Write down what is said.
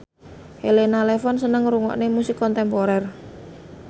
Elena Levon seneng ngrungokne musik kontemporer